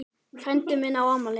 Frændi minn á afmæli.